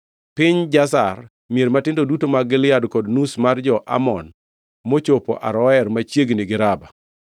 Piny Jazer, mier matindo duto mag Gilead kod nus mar jo-Amon mochopo Aroer machiegni gi Raba;